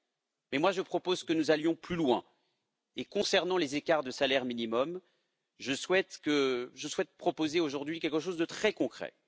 Mais moi, je propose que nous allions plus loin, et concernant les écarts de salaire minimum, je souhaite proposer aujourd'hui quelque chose de très concret.